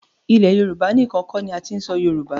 Ilẹ̀ Yorùbá níkan kọ́ ni a ti ń sọ Yorùbá.